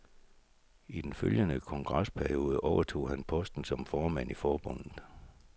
I den følgende kongresperiode overtog han posten som formand i forbundet.